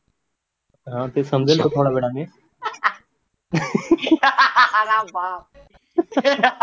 अं ते समजेल थोड्या वेळाने